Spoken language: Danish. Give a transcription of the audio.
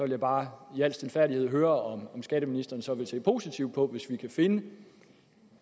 jeg bare i al stilfærdighed høre om skatteministeren så vil se positivt på hvis vi kan finde